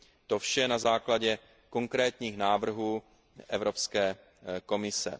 To vše na základě konkrétních návrhů Evropské komise.